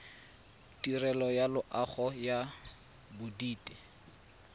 tirelo ya loago ya bodit